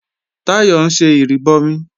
Táyọ̀ ń ṣe ìrìbọmi